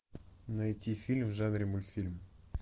найти фильм в жанре мультфильм